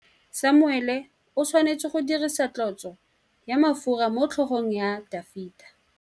Samuele o tshwanetse go dirisa tlotsô ya mafura motlhôgong ya Dafita.